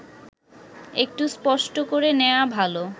একটু স্পষ্ট করে নেওয়া ভালো